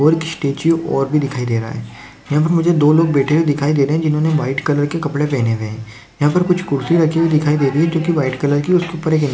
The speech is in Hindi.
और एक स्टेचू और भी दिखाई दे रहा है यहां पे मुझे दो लोग बेठे हुए दिखाई दे रहे है जिन्होंने व्हाइट कलर के कपड़े पहने हुए है यहां पर कुछ कुर्सी रखी हुई दिखाई दे रही है जो की व्हाइट कलर की उसके ऊपर --